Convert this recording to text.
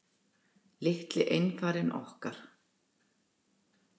Litli einfarinn okkar.